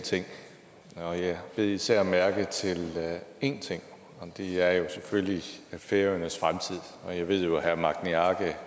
ting og jeg bed især mærke i én ting og det er jo selvfølgelig færøernes fremtid jeg ved at herre magni arge